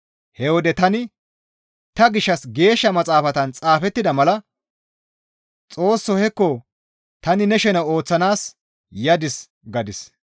He wode tani, «Ta gishshas Geeshsha Maxaafan xaafettida mala, ‹Xoossoo, hekko tani ne shene ooththanaas yadis› » gadis.